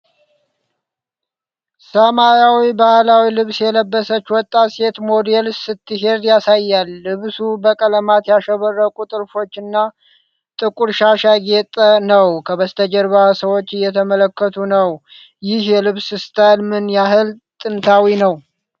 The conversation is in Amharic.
ሰማያዊ ባህላዊ ልብስ የለበሰች ወጣት ሴት ሞዴል ስትሄድ ያሳያል። ልብሱ በቀለማት ያሸበረቁ ጥልፎችና ጥቁር ሻሽ ያጌጠ ነው። ከበስተጀርባ ሰዎች እየተመለከቱ ነው። ይህ የልብስ ስታይል ምን ያህል ጥንታዊ ነው?